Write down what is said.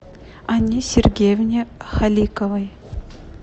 анне сергеевне халиковой